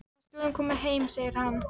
Við skulum koma heim, segir hann.